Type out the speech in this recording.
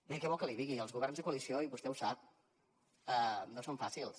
bé què vol que li digui els governs de coalició i vostè ho sap no són fàcils